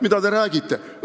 Mida te räägite?